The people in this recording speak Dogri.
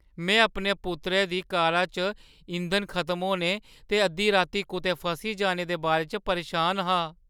में अपने पुत्तरै दी कारा च इंधन खतम होने ते अद्धी राती कुतै फसी जाने दे बारे च परेशान हा।